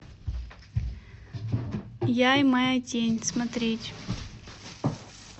я и моя тень смотреть